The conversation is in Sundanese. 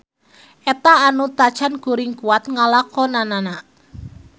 Eta anu tacan kuring kuat ngalakonanana.